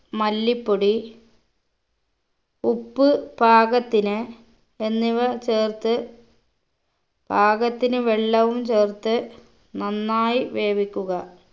മല്ലിപ്പൊടി ഉപ്പ് പാകത്തിന് എന്നിവ ചേർത്ത് പാകത്തിന് വെള്ളവും ചേർത്ത് നന്നായി വേവിക്കുക